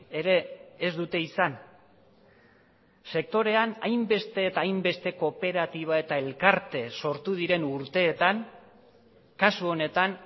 ere ez dute izan sektorean hainbeste eta hainbeste kooperatiba eta elkarte sortu diren urteetan kasu honetan